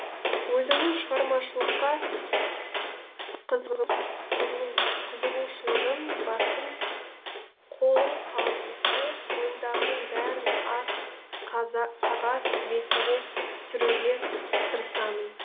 өзімнің шығармашылыққа қызығушылығым басым қолым қалт етсе ойымдағының бәрін ақ қағаз бетіне түсіруге тырысамын